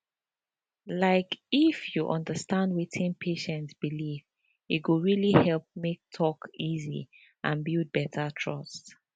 like if you understand wetin patient believe e go really help make talk easy and build better trust